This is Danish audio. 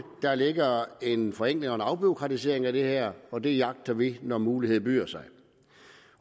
der ligger en forenkling og en afbureaukratisering af det her og det jagter vi når muligheden byder sig